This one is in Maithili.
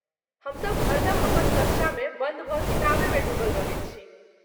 हमसब हरदम अपन कक्षामे बन्द भऽ किताबेमे डूबल रहैत छी।